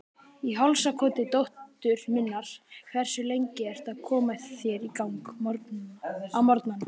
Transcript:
Í hálsakoti dóttur minnar Hversu lengi ertu að koma þér í gang á morgnanna?